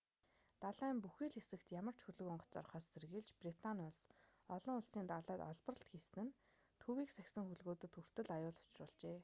далайн бүхий л хэсэгт ямар ч хөлөг онгоц орохоос сэргийлж британи улс олон улсын далайд олборлолт хийсэн нь төвийг сахисан хөлгүүдэд хүртэл аюул учруулжээ